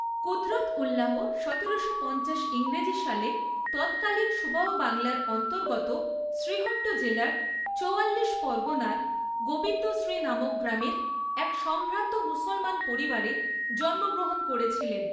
কুদরতউল্লাহ সতেরোশো পঞ্চাশ ইংরেজি সালে তৎকালীন সুবাহ বাংলার অন্তর্গত শ্রীহট্ট জেলার চৌয়াল্লিশ পরগনার গবিন্দশ্রী নামক গ্রামের এক সম্ভ্রান্ত মুসলমান পরিবারে জন্মগ্রহণ করেছিলেন।